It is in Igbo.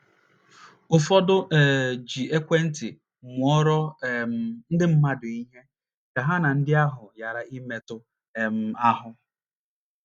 Ụfọdụ um ji ekwentị mụọrọ um ndị mmadụ ihe, ka ha na ndị ahụ ghara ịmetụ um ahụ́.